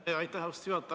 Aitäh, austatud juhataja!